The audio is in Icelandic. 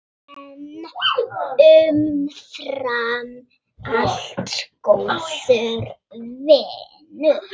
En umfram allt góður vinur.